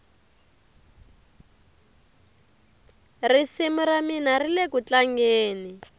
risimu ramina rilekutlangeni